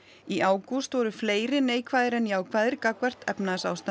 í ágúst voru fleiri neikvæðir en jákvæðir gagnvart efnahagsástandinu